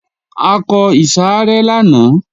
A kọ ìsàrẹ́ lánàá